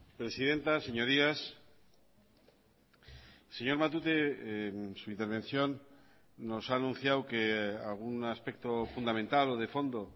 presidenta señorías señor matute su intervención nos ha anunciado que algún aspecto fundamental o de fondo